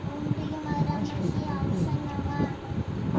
Era mais feito por políticos tal.